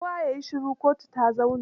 Kowa ya yi shiru, kotu ta zauna!